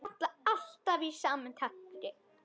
Falla alltaf í sama takti.